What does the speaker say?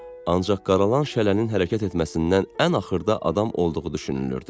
Ancaq qaralan şələnin hərəkət etməsindən ən axırda adam olduğu düşünülürdü.